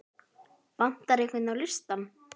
Vantar einhvern á listann?